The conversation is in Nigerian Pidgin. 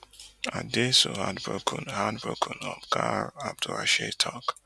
i dey so heartbroken heartbroken oga abdulrasheed tok